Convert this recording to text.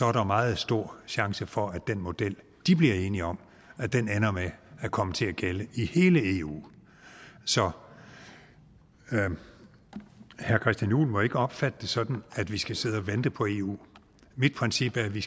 er der meget stor chance for at den model de bliver enige om ender med at komme til at gælde i hele eu så herre christian juhl må ikke opfatte det sådan at vi skal sidde og vente på eu mit princip er at vi